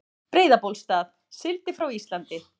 Breiðabólsstað, sigldi frá Íslandi.